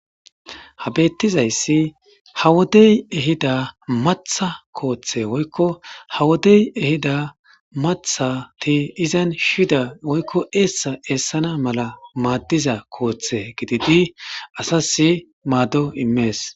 Ha beettizayssi haa wodey ehida maththa kooththe woykko haa wodey ehida maththati izan shiyida woykko eessa eessana malla maaddiza kooththe gididi asasi maaddo immees